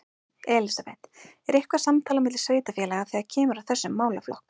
Elísabet: Er eitthvað samtal á milli sveitarfélaga þegar kemur að þessum málaflokk?